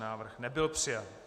Návrh nebyl přijat.